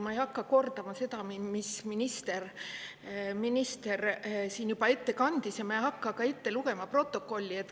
Ma ei hakka kordama seda, mis minister siin juba ette kandis, ja ma ei hakka ka ette lugema protokolli.